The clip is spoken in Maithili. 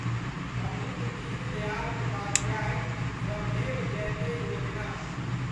पंडित दीनदयाल उपाध्याय श्रमेव जयते योजना